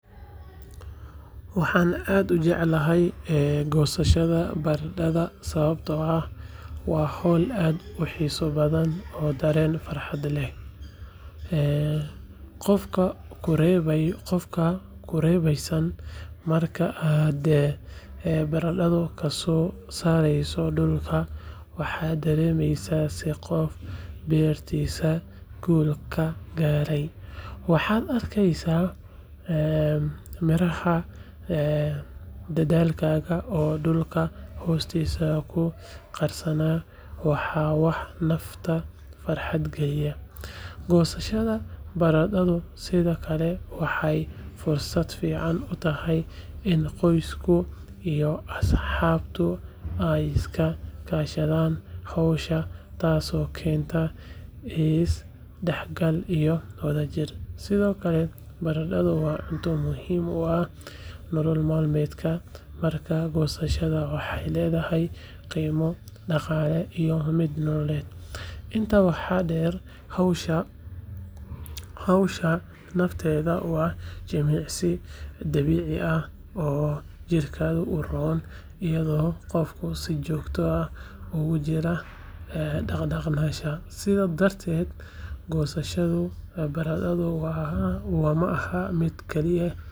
Waxaan aad ujeclahay gosashada barandadha sababto ah, waa hool sayid uxisa badhan oo daren farxad leh qoofka qurebeysan markaa aad barandadha kasosareyso dulka waxad daremesa sii qoof bertisa gul kagarey maxad arkeysa miraha, dadhalkaga oo dulka hostisa kuqarsana waa wax nafta farxad geliyah gosashada barandadha sidiokale, waxay fursad fican utahay inu qosku ama asxabtu aay iskakashadan hosha tasi oo kenta isdaxgal iyo wadajir sidiokale barankada wa cunto muhim uu ah nolol madmedka marka gosashada, waxay ledahahy qimo daqale iyo mid nololed inta waxa der hoshaa nafteda wa jimicsi dabici ah oo jirkada uron iyado qofka sii jogto ah ogujiro daqdaqnasha sidaa dartet gosashadu barandadhu waa maaha mid keli eh.